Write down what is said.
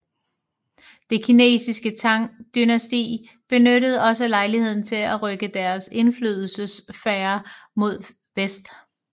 Det kinesiske Tang dynasti benyttede også lejligheden til at rykke deres indflydelsessfære mod vest